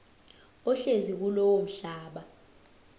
ohlezi kulowo mhlaba